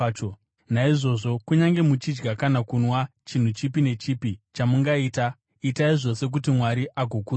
Naizvozvo, kunyange muchidya kana kunwa, chinhu chipi nechipi chamungaita, itai zvose kuti Mwari agokudzwa.